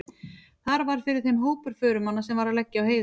Þar varð fyrir þeim hópur förumanna sem var að leggja á heiðina.